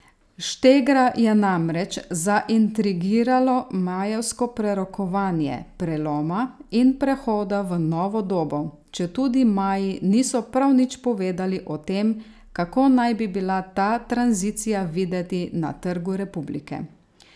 Štegra je namreč zaintrigiralo majevsko prerokovanje preloma in prehoda v novo dobo, četudi Maji niso prav nič povedali o tem, kako naj bi bila ta tranzicija videti na Trgu republike.